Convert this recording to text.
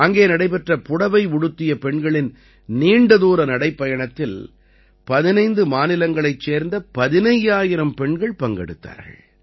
அங்கே நடைபெற்ற புடவை உடுத்திய பெண்களின் நீண்டதூர நடைப்பயணத்தில் 15 மாநிலங்களைச் சேர்ந்த 15000 பெண்கள் பங்கெடுத்தார்கள்